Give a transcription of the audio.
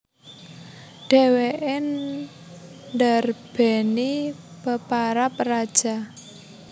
Dhèwèké ndarbèni peparab Raja